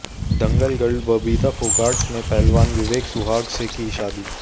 दंगल girl Babita Phogat ने पहलवान विवेक सुहाग से की शादी